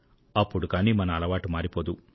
అప్పుడు గాని మన అలవాటు మారిపోదు